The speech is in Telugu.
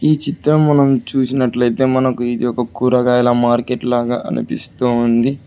ఈ చిత్రం మనం చూసినట్లయితే మనకు ఇది ఒక కూరగాయల మార్కెట్ లాగా అనిపిస్తూవుంది.